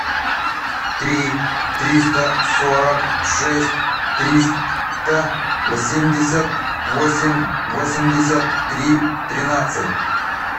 три триста сорок шесть триста семьдесят восемь восемьдесят три тринадцать